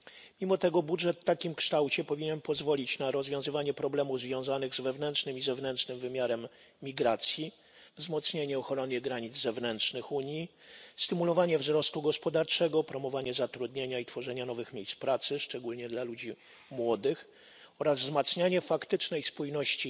Mimo to budżet w takim kształcie powinien pozwolić na rozwiązywanie problemów związanych z wewnętrznym i zewnętrznym wymiarem migracji, wzmocnienie ochrony granic zewnętrznych Unii, stymulowanie wzrostu gospodarczego, promowanie zatrudnienia i tworzenia nowych miejsc pracy, szczególnie dla ludzi młodych, oraz wzmacnianie faktycznej spójności